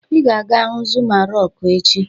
"Ị ga-aga hu Zuma Rọkụ echi"